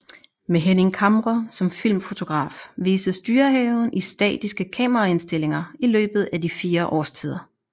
Med Henning Camre som filmfotograf vises Dyrehaven i statiske kameraindstillinger i løbet af de fire årstider